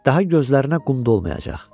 Daha gözlərinə qum dolmayacaq.